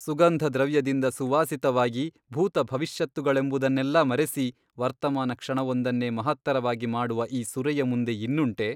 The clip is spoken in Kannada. ಸುಗಂಧದ್ರವ್ಯದಿಂದ ಸುವಾಸಿತವಾಗಿ ಭೂತ ಭವಿಷ್ಯತ್ತುಗಳೆಂಬುದನ್ನೆಲ್ಲಾ ಮರೆಸಿ ವರ್ತಮಾನಕ್ಷಣವೊಂದನ್ನೇ ಮಹತ್ತರವಾಗಿ ಮಾಡುವ ಈ ಸುರೆಯ ಮುಂದೆ ಇನ್ನುಂಟೆ ?